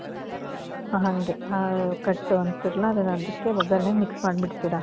ಹ ಹಂಗೆ. ಹ ಕಟ್ಟು ಅಂತೀರಲ್ಲ ಅದುನ್ ಅದುಕ್ಕೆ ಒಗ್ಗರಣೆಗೆ mix ಮಾದ್ಬಿಡ್ತೀರ?